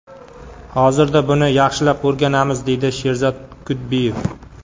Hozirda buni yaxshilab o‘rganamiz”, deydi Sherzod Kudbiyev.